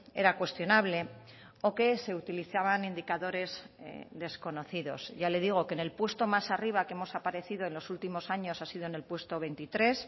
era cuestionable o que se utilizaban indicadores desconocidos ya le digo que en el puesto más arriba que hemos aparecido en los últimos años ha sido en el puesto veintitrés